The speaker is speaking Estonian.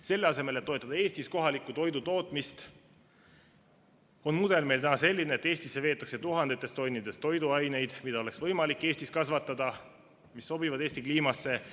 Selle asemel, et toetada Eestis kohaliku toidu tootmist, on mudel meil täna selline, et Eestisse veetakse tuhandetes tonnides toiduaineid, mida oleks võimalik Eestis kasvatada, mis sobivad Eesti kliimasse.